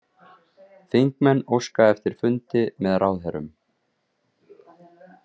Þingmenn óska eftir fundi með ráðherrum